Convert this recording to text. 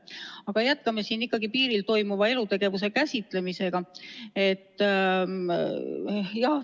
Aga jätkame piiril toimuva elutegevuse käsitlemisega.